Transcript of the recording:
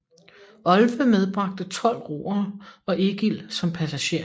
Olve medbragte tolv roere og Egil som passager